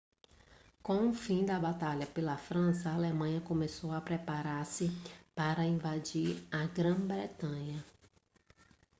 com o fim da batalha pela frança a alemanha começou a preparar-se para invadir a grã-bretanha